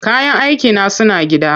Kayan aikina suna gida.